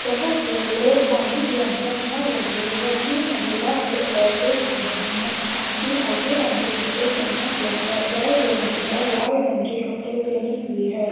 जहां पे लोग पानी के अंदर जा रहे है। तीन महिला है और एक आदमी है। आदमी काले रंग के कपड़े पेहना हुआ है और दो महिला लाल रंग के कपड़े पेहनी हुई है।